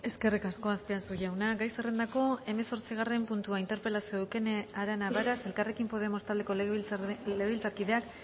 eskerrik asko azpiazu jauna gai zerrendako hemezortzigarren puntua interpelazioa eukene arana varas elkarrekin podemos taldeko legebiltzarkideak